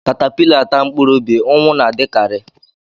Caterpillar taa mkpụrụ ubi, ụnwụ na-adikari